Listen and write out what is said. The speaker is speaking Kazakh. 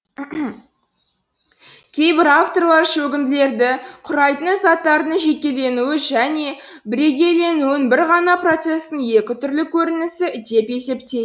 кейбір авторлар шөгінділерді күрайтын заттардың жекеленуі және бірегейленуін бір ғана процестің екі түрлі көрінісі деп есептей